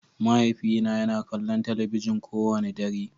Mahaifina yana kallon talabijin kowane dare.